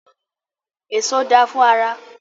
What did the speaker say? Èso da fún ara.